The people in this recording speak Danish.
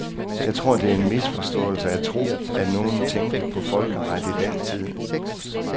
Jeg tror, at det er en misforståelse at tro, at nogen tænkte på folkeret i den tid.